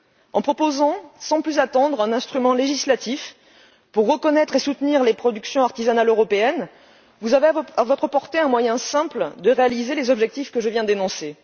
En proposant sans plus attendre un instrument législatif pour reconnaître et soutenir les productions artisanales européennes, vous avez à votre portée un moyen simple de réaliser les objectifs que je viens d'énoncer.